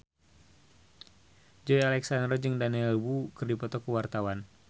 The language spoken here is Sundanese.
Joey Alexander jeung Daniel Wu keur dipoto ku wartawan